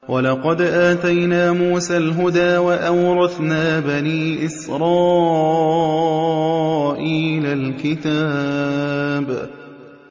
وَلَقَدْ آتَيْنَا مُوسَى الْهُدَىٰ وَأَوْرَثْنَا بَنِي إِسْرَائِيلَ الْكِتَابَ